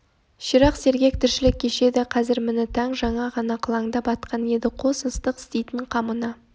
ширақ сергек тіршілік кешеді қазір міні таң жаңа ғана қылаңдап атқан еді қос ыстық істейтін қамына